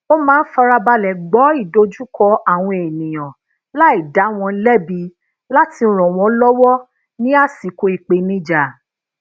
ó máa ń farabale gbọ idojuko awon eniyan lai da won lebi láti ran won lowo ni asiko ìpènijà